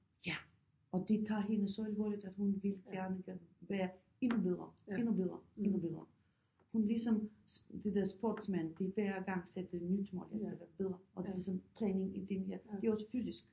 Ja og de tager hende så alvorligt at hun vil gerne være endnu bedre endnu bedre endnu bedre hun ligesom det der sportsmand de hver gang sætter nyt mål at jeg skal være bedre og det er sådan træning i det her det er også fysisk